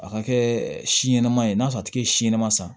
A ka kɛ si ɲɛnama ye n'a sɔrɔ a tigi ye si ɲɛnɛma san